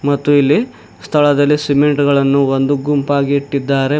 ಮತ್ತು ಇಲ್ಲಿ ಸ್ಥಳದಲಿ ಸಿಮೆಂಟ್ ಗಳನ್ನು ಒಂದು ಗುಂಪಾಗಿ ಇಟ್ಟಿದ್ದಾರೆ.